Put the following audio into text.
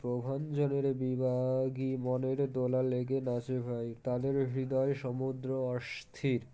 প্রহনজলের বিবাগী মনের দোলা লেগে নাচে ভাই তাদের হৃদয়ে সমুদ্র অস্থির